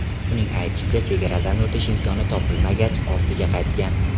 Uning aytishicha, chegaradan o‘tish imkoni topilmagach, ortiga qaytgan.